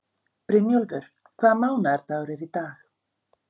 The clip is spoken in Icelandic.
Brynjólfur, hvaða mánaðardagur er í dag?